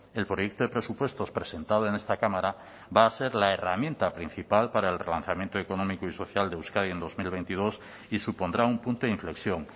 el proyecto de presupuestos presentado en esta cámara va a ser la herramienta principal para el relanzamiento económico y social de euskadi en dos mil veintidós y supondrá un punto de inflexión